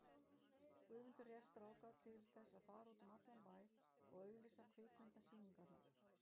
Guðmundur réð stráka til þess að fara út um allan bæ og auglýsa kvikmynda- sýningarnar.